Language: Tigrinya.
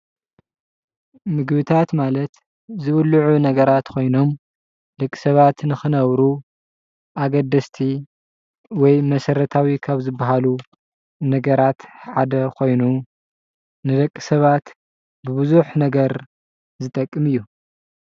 ምግብታት ማለት ዝብልዑ ነገራት ኮይኖም ደቂ ሰባት ንክነብሩ ኣገደስቲ ወይ መሰረታዊ ካብ ዝበሃሉ ነገራት ሓደ ኮይኑ ንደቂ ሰባት ብብዙሕ ነገር ዝጠቅም እዩ።